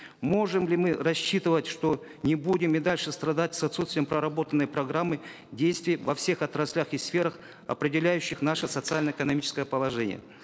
можем ли мы рассчитывать что не будем и дальше страдать с отсутствием проработанной программы действий во всех отраслях и сферах определяющих наше социально экономическое положение